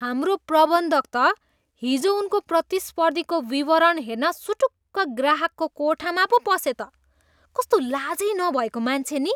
हाम्रो प्रबन्धक त हिजो उनको प्रतिस्पर्धीको विवरण हेर्न सुटुक्क ग्राहकको कोठामा पो पसे त। कस्तो लाजै नभएको मान्छे नि?